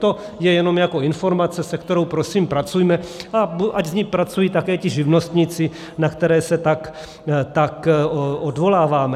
To je jenom jako informace, se kterou prosím pracujme, a ať s ní pracují také ti živnostníci, na které se tak odvoláváme.